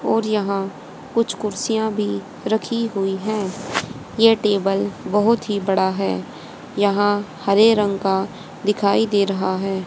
और यहाँ कुछ कुर्सियां भी रखी हुई है ये टेबल बहोत ही बड़ा है यहाँ हरे रंग का दिखाई दे रहा है।